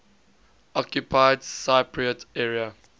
occupied cypriot area